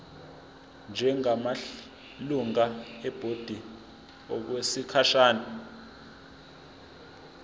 njengamalungu ebhodi okwesikhashana